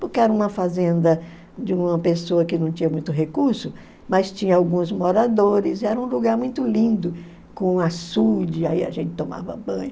Porque era uma fazenda de uma pessoa que não tinha muito recurso, mas tinha alguns moradores e era um lugar muito lindo, com açude, aí a gente tomava banho.